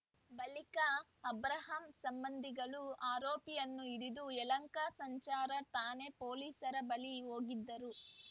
ಬಳಿಕ ಅಬ್ರಾಹಂ ಸಂಬಂಧಿಗಳು ಆರೋಪಿಯನ್ನು ಹಿಡಿದು ಯಲಹಂಕ ಸಂಚಾರ ಠಾಣೆ ಪೊಲೀಸರ ಬಳಿ ಹೋಗಿದ್ದರು